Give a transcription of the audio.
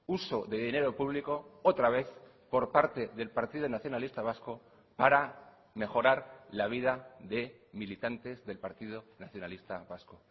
uso de dinero público otra vez por parte del partido nacionalista vasco para mejorar la vida de militantes del partido nacionalista vasco